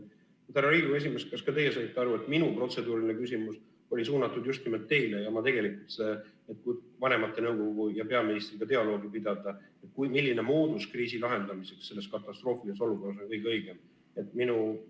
Härra Riigikogu esimees, kas ka teie saite aru, et minu protseduuriline küsimus oli suunatud just nimelt teile, et vanematekogu võiks peaministriga dialoogi pidada, milline moodus kriisi lahendamiseks selles katastroofilises olukorras on kõige õigem?